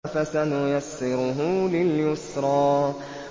فَسَنُيَسِّرُهُ لِلْيُسْرَىٰ